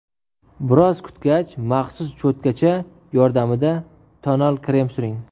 Biroz kutgach, maxsus cho‘tkacha yordamida tonal krem suring.